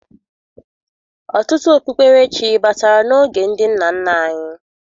Ọtụtụ okpukperechi batara n'oge ndị nna nna anyị